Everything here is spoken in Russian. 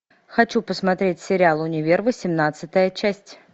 хочу посмотреть сериал универ восемнадцатая часть